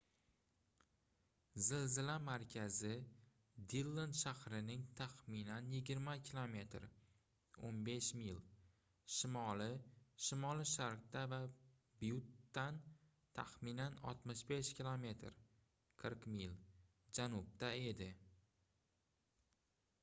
zilzila markazi dillon shahrining taxminan 20 km 15 mil shimoli-shimoli-sharqida va byuttdan taxminan 65 km 40 mil janubda edi